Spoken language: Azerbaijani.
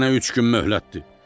Sənə üç gün möhlətdir.